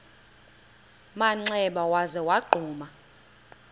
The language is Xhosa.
manxeba waza wagquma